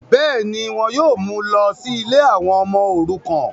bẹ́ẹ̀ni, wọn yóò mú u lọ sí ilé àwọn ọmọ òrukàn